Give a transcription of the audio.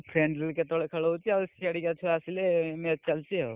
Friendly ବି କେତେ ବେଳେ ଖେଳ ହଉଛି ଆଉ, ସିଆଡିକା ଛୁଆ ଆସିଲେ match ଚାଲୁଛି ଆଉ।